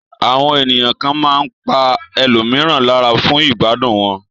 Àwọn ènìyàn kan máa pa ẹlòmíràn lára fún ìgbádùn wọn.